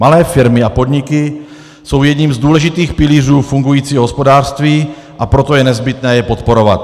Malé firmy a podniky jsou jedním z důležitých pilířů fungujícího hospodářství, a proto je nezbytné je podporovat.